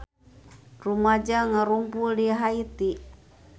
Rumaja ngarumpul di Haiti